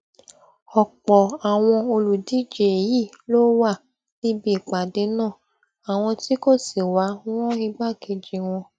ọpọ àwọn olùdíje yìí ló wà níbi ìpàdé náà àwọn tí kò sì wá rán igbákejì wọn